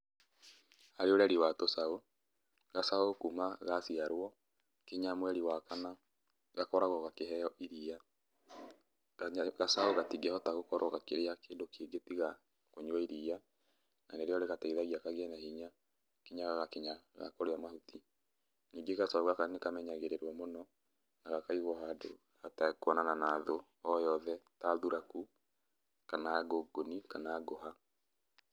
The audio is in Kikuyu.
Harĩ ũreri wa tũcaũ, gacaũ kuma gaciarwo nginya mweri wa kana, gakoragwo gakĩheo iria, gacaũ gatingĩhota gũkorwo gakĩrĩa kĩndũ kĩngĩ tiga kũnyua iria, na nĩrĩo rĩgateithagia kũgĩa na hinya nginya gagakinya ga kũrĩa mahuti. Ningĩ gacaũ gaka nĩ kamenyagĩrĩrũo mũno na gakaigwo handũ hatekuonana na thũ oyothe ta thuraku, kana ngũngũni, kana ngũha.